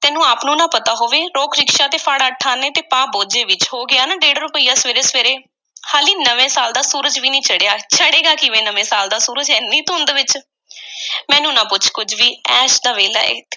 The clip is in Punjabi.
ਤੈਨੂੰ ਆਪ ਨੂੰ ਨਾ ਪਤਾ ਹੋਵੇ। ਰੋਕ ਰਿਕਸ਼ਾ ਤੇ ਫੜ ਅੱਠ ਆਨੇ, ਤੇ ਪਾ ਬੋਝੇ ਵਿੱਚ। ਹੋ ਗਿਆ ਨਾ ਡੇਢ ਰੁਪਇਆ ਸਵੇਰੇ-ਸਵੇਰੇ, ਹਾਲੀ ਨਵੇਂ ਸਾਲ ਦਾ ਸੂਰਜ ਵੀ ਨਹੀਂ ਚੜ੍ਹਿਆ। ਚੜ੍ਹੇਗਾ ਕਿਵੇਂ ਨਵੇਂ ਸਾਲ ਦਾ ਸੂਰਜ, ਐਨੀ ਧੁੰਦ ਵਿਚ? ਮੈਨੂੰ ਨਾ ਪੁੱਛ ਤੂੰ ਕੁਝ ਵੀ, ਐਸ ਦਾ ਵੇਲਾ ਐ,